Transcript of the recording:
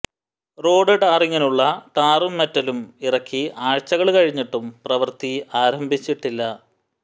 road ടാറിങ്ങിനുള്ള ടാറും മെറ്റലും ഇറക്കി ആഴ്ചകള് കഴിഞ്ഞിട്ടും പ്രവൃത്തി ആരംഭിച്ചിട്ടില്ല